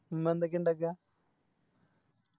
ഉമ്മ എന്തൊക്കെയാ ഇണ്ടക്ക